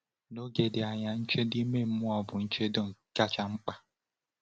N’oge dị anya, nchedo ime mmụọ bụ ụdị nchedo kacha mkpa.